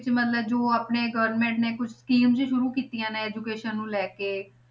ਕਿ ਮਤਲਬ ਜੋ ਆਪਣੇ government ਨੇ ਕੁਛ schemes ਸ਼ੁਰੂ ਕੀਤੀਆਂ ਨੇ education ਨੂੰ ਲੈ ਕੇ